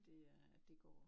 Det er det går